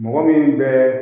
Mɔgɔ min bɛ